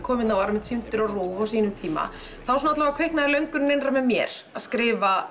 var sýndur á RÚV á sínum tíma þá kviknaði löngun innra með mér að skrifa